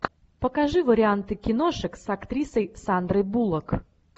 покажи варианты киношек с актрисой сандрой буллок